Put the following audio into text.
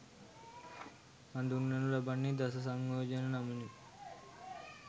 හඳුන්වනු ලබන්නේ දස සංයෝජන නමිනුයි.